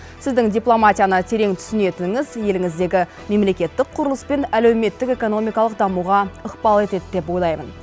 сіздің дипломатияны терең түсінетініңіз еліңіздегі мемлекеттік құрылыс пен әлеуметтік экономикалық дамуға ықпал етеді деп ойлаймын